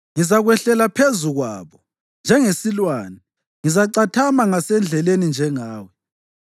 Ngizakwehlela phezu kwabo njengesilwane, ngizacathama ngasendleleni njengengwe.